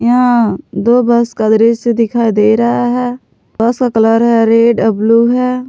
यहां दो बस का दृश्य दिखाई दे रहा है बस का कलर है रेड आ ब्लू है।